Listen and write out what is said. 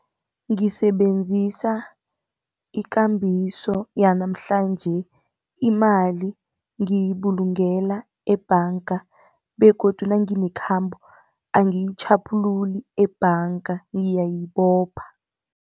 Ngisebenzisa ikambiso yanamhlanje, imali ngiyibulungela ebhanga begodu nanginekhambo angiyitjhaphululi ebhanga ngiyayibopha.